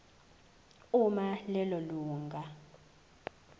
uma lelo lunga